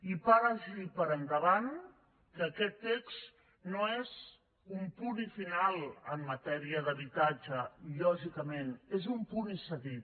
i vagi per endavant que aquest text no és un punt i final en matèria d’habitatge lògicament és un punt i seguit